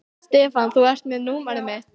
Stefán, þú ert með númerið mitt.